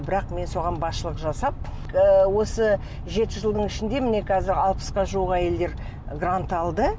бірақ мен соған басшылық жасап ыыы осы жеті жылдың ішінде міне қазір алпысқа жуық әйелдер грант алды